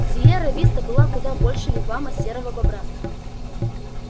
сиерра виста была куда больше вигвама серого бобра